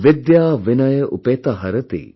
विद्या विनय उपेता हरति